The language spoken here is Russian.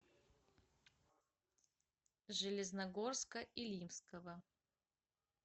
железногорска илимского